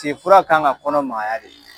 Te fura kan ka kɔnɔ magaya de